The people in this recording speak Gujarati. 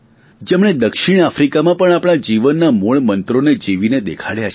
જેમણે દક્ષિણ આફ્રીકામાં પણ આપણા જીવનના મૂળ મંત્રોને જીવીને દેખાડ્યા છે